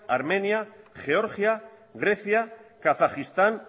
armenia georgia grecia kazajistán